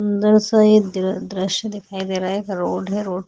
दृश्य दिखाई दे रहा है एक रोड है रोड --